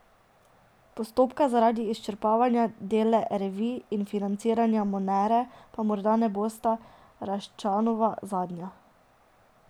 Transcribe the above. Postopka zaradi izčrpavanja Dela Revij in financiranja Monere pa morda ne bosta Raščanova zadnja.